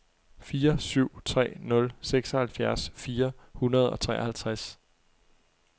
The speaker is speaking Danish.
fire syv tre nul seksoghalvfjerds fire hundrede og treoghalvtreds